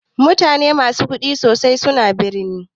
Mutane musu kuɗi sosai suna birni.